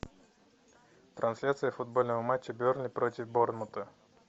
трансляция футбольного матча бернли против борнмута